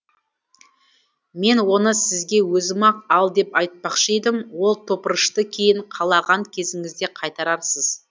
мен оны сізге өзім ақ ал деп айтпақшы едім ол топырышты кейін қалаған кезіңізде қайтарарсыз